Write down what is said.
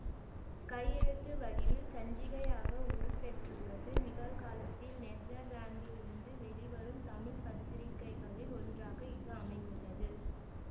கையெழுத்து வடிவில் சஞ்சிகையாக உருப்பெற்றுள்ளது நிகழ்காலத்தில் நெதர்லாந்திலிருந்து வெளிவரும் தமிழ் பத்திரிகைகளில் ஒன்றாக இது அமைந்துள்ளது